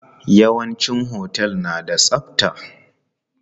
Yawanci otel na da tsabta.